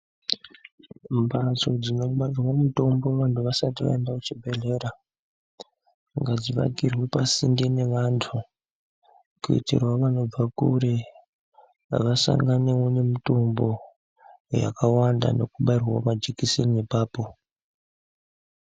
Mbatso dzinobarirwa mutombo vantu vasati vaenda kuchibhedhlera ngadzivakirwe pasinde nevantu. Kuitiravo vanobva kure vasanganevo nemutombo yakawanda nekubairwavo majekiseni ipapo.